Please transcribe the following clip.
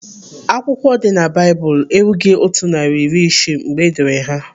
Akwụkwọ dị na Baịbụl erughị otu narị na iri isii mgbe edere ha.